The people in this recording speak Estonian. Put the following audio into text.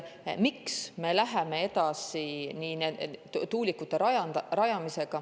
Miks me läheme edasi tuulikute rajamisega?